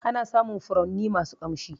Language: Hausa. Ana samun furanni masu ƙamshi